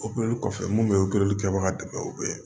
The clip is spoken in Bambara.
kɔfɛ mun bɛ kɛbaga dɛmɛ o bɛ